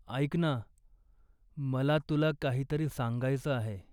ऐक ना, मला तुला काहीतरी सांगायचं आहे.